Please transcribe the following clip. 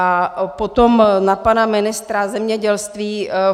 A potom na pana ministra zemědělství.